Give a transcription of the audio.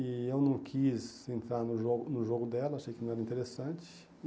E eu não quis entrar no jogo no jogo dela, achei que não era interessante.